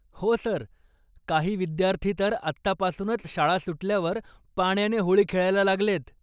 हो सर, काही विद्यार्थी तर आत्तापासूनच शाळा सुटल्यावर पाण्याने होळी खेळायला लागलेत.